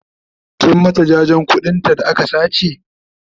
kin mata jajen ƙuɗin ta da aka sace?